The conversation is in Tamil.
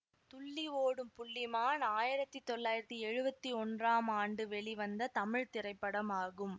துள்ளி ஓடும் புள்ளிமான் ஆயிரத்தி தொள்ளாயிரத்தி எழுவத்தி ஒன்றாம் ஆண்டு வெளிவந்த தமிழ் திரைப்படமாகும்